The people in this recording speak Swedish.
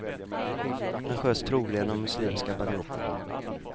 Han sköts troligen av muslimska banditer.